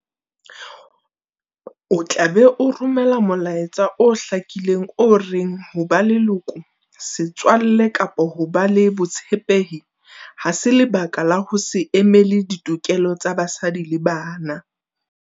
O tla be o romela molaetsa o hlakileng o reng ho ba leloko, setswalle kapa ho ba le botshepehi ha se lebaka la ho se emele ditokelo tsa basadi le bana.